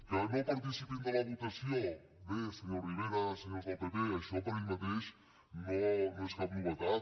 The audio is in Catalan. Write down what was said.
que no participin de la votació bé senyor rivera senyors del pp això per si mateix no és cap novetat